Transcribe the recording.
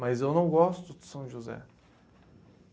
Mas eu não gosto de São José.